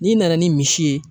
N'i nana ni misi ye